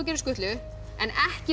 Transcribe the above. gera skutlu en ekki